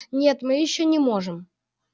нет мы ещё не можем